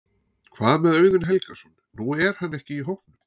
Hvað með Auðun Helgason, nú er hann ekki í hópnum?